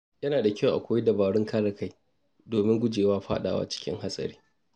Yana da kyau a koyi dabarun kare kai domin guje wa fadawa cikin hatsari.